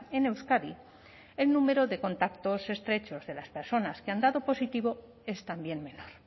en euskadi el número de contactos estrechos de las personas que han dado positivo es también menor